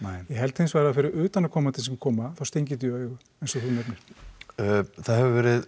ég held hins vegar að fyrir utanaðkomandi sem koma þá stingi þetta í augu eins og þú nefnir það hefur verið